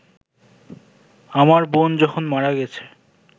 আমার বোন যখন মারা গেছে